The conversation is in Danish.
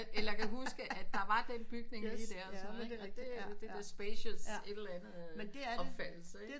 Eller at jeg kan huske at der var den bygning lige der så ikke og det er det der spacious et eller andet omfattelse ikke